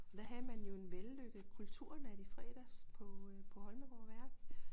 Der havde man jo en vellykket kulturnat i fredags på øh på Holmegaard Værk